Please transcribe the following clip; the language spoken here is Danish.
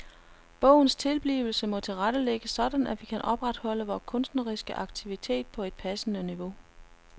Bogens tilblivelse må tilrettelægges sådan at vi kan opretholde vores kunstneriske aktivitet på et passende niveau.